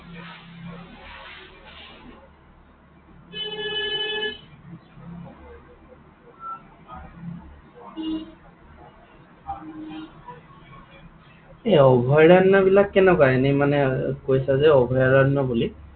এই অভয়াৰণ্য বিলাক কেনেকুৱা? এনেই মানে, কৈছা যে অভয়াৰণ্য বুলি?